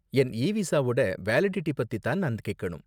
என் e விசாவோட validity பத்தி தான் நான் கேக்கணும்.